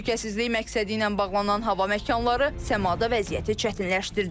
Təhlükəsizlik məqsədi ilə bağlanılan hava məkanları səmada vəziyyəti çətinləşdirdi.